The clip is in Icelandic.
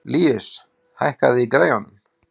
Líus, hækkaðu í græjunum.